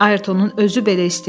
Ayrtonun özü belə istəyib.